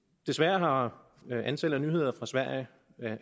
desværre har antallet af nyheder